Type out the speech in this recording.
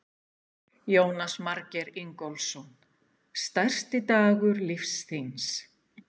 Jónas Margeir Ingólfsson: Stærsti dagur lífs þíns?